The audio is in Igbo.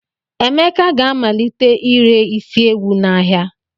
Emeka ga-amalite ire isi ewu n'ahịa.